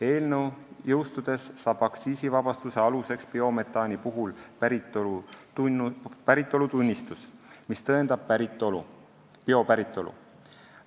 Eelnõu jõustudes saab aktsiisivabastuse aluseks biometaani päritolutunnistus, mis tõendab gaaside biopäritolu.